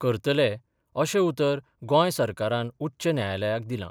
करतले, अशें उतर गोंय सरकारान उच्च न्यायालयाक दिलां.